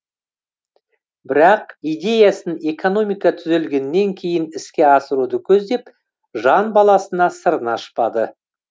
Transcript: бірақ идеясын экономика түзелгеннен кейін іске асыруды көздеп жан баласына сырын ашпады